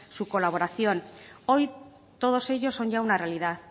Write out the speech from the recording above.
su colaboración hoy todos ellos son ya una realidad